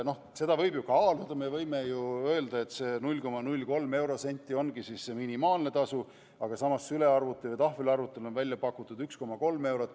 Seda võib ju kaaluda, me võime öelda, et see 0,3 eurosenti ongi see minimaalne tasu, aga samas sülearvuti või tahvelarvuti puhul on välja pakutud 1,3 eurot.